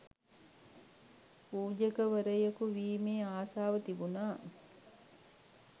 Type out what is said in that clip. පූජකවරයෙකු වීමේ ආසාව තිබුණා